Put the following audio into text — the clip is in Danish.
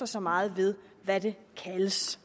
så meget ved hvad det kaldes